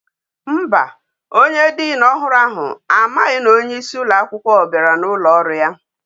Mba, onye dean ohuru ahu amaghi na onye isi uloakwukwo biara na ulo oru ya